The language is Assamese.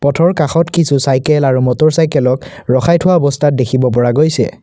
পথৰ কাষত কিছু চাইকেল আৰু মটৰচাইকেলক ৰখাই থোৱা অৱস্থাত দেখা গৈছে।